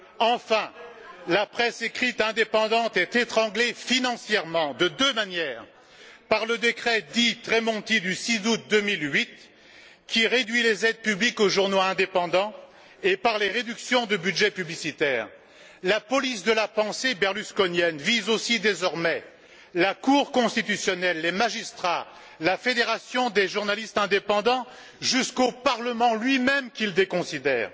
Enfin, la presse écrite indépendante est étranglée financièrement de deux manières par le décret dit Tremonti du 6 août 2008, qui réduit les aides publiques aux journaux indépendants, et par les réductions de budgets publicitaires. La police de la pensée berlusconienne vise aussi désormais la cour constitutionnelle, les magistrats, la Fédération des journalistes indépendants, jusqu'au parlement lui même qu'il déconsidère.